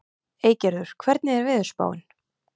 Eygerður, hvernig er veðurspáin?